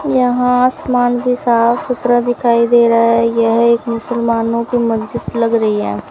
यहां आसमान भी साफ सुथरा दिखाई दे रहा है यह एक मुसलमानों की मस्जिद लग रही है।